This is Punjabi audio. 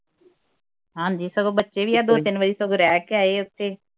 ਹਾਂਜੀ ਸਗੋਂ ਬੱਚੇ ਵੀ ਆਹ ਦੋ ਤਿੰਨ ਵਾਰੀ ਸਗੋਂ ਰਹਿ ਕੇ ਆਏ ਉਥੇ